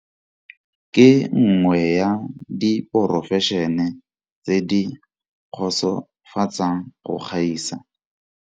Ke nngwe ya diporofešene tse di kgotsofatsang go gaisa.